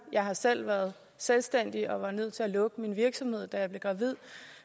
jeg har selv været selvstændig og var nødt til at lukke min virksomhed da jeg blev gravid